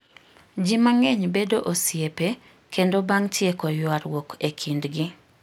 Ji mang'eny bedo osiepe kendo bang' tieko ywaruok e kindgi.